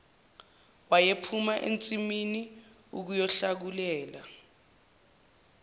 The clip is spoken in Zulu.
wayephuma ensimini ukuyohlakulela